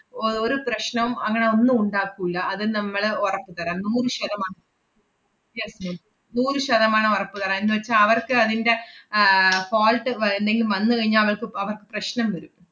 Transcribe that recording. O~ ഒരു പ്രശ്‌നം അങ്ങനെ ഒന്നും ഉണ്ടാക്കൂല്ല. അത് നമ്മള് ഒറപ്പ് തരാം നൂറ് ശതമാ~ yes ma'am നൂറ് ശതമാനം ഒറപ്പ് തരാം. എന്നുവെച്ചാ അവർക്ക് അതിന്‍റെ ആഹ് fault വ~ എന്തെങ്കിലും വന്ന് കഴിഞ്ഞാ അവർക്ക് പ്~ അവർക്ക് പ്രശ്നം വരും.